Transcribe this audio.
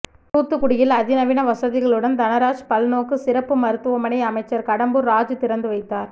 தூத்துக்குடியில் அதிநவீன வசதிகளுடன் தனராஜ் பல்நோக்கு சிறப்பு மருத்துவமனை அமைச்சர் கடம்பூர் ராஜூ திறந்து வைத்தார்